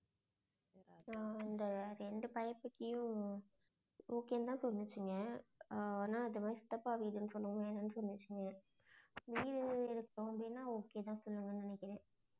ஆஹ் இந்த இரண்டு பையன் கிட்டயும் okay தான் சொன்னுச்சுங்க ஆஹ் ஆனா அது வந்து சித்தப்பா வீடுன்னு சொன்னதுமே வேண்டான்னு சொன்னுச்சுங்க. வீடு இருக்கு அப்படின்னா okay தான் சொல்லுவாங்கன்னு நினைக்கிறேன்.